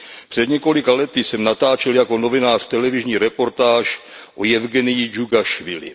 Před několika lety jsem natáčel jako novinář televizní reportáž o Jevgeniji Džugašvilim.